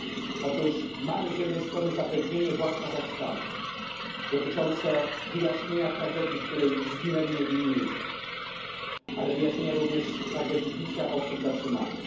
Mamy otóż zapewnienie władz Kazachstanu dotyczące wyjaśnienie tragedii, w której zginęli niewinni ludzie, ale wyjaśnienia również tragedii bicia ludzi zatrzymanych.